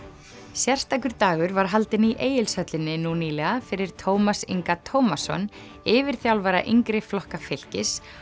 sérstakur dagur var haldinn í Egilshöllinni nú nýlega fyrir Tómas Inga Tómasson yfirþjálfara yngri flokka fylkis